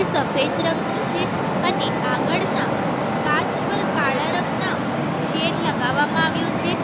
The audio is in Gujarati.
સફેદ રંગનું છે અને આગળના કાચ પર કાળા રંગના શેડ લગાવવામાં આવ્યો છે.